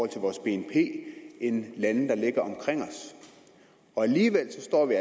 til vores bnp end lande der ligger omkring os og alligevel står vi